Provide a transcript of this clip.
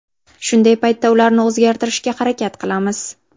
Shunday paytda ularni o‘zgartirishga harakat qilamiz.